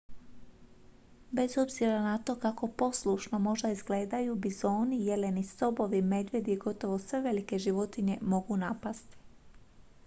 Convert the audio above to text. bez obzira na to kako poslušno možda izgledaju bizoni jeleni sobovi medvjedi i gotovo sve velike životinje mogu napasti